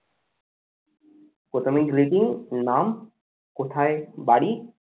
প্রথমে greeting নাম, কোথায় বাড়ি